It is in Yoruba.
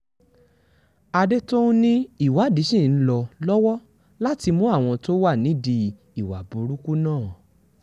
àdètòun ni ìwádìí ṣì ń lọ lọ́wọ́ láti mú àwọn tó wà nídìí ìwà burúkú náà